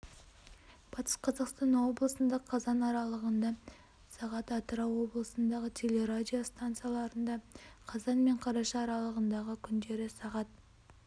батыс қазақстан облысында қазан аралығында сағат атырау облысындағы телерадио стансаларында қазан мен қараша аралығындағы күндері сағат